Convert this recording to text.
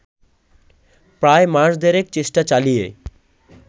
প্রায় মাস দেড়েক চেষ্টা চালিয়ে